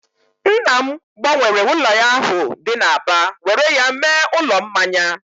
Nna m gbanwere ụlọ ya ahụ dị n'Aba were ya mee ụlọ mmanya